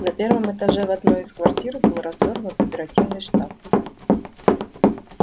на первом этаже в одной из квартир был развёрнут оперативный штаб